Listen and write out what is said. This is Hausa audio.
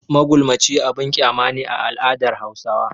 Magulmaci abin kyama ne a al'adar Hausawa.